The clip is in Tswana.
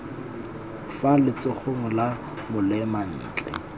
fa letsogong la molema ntle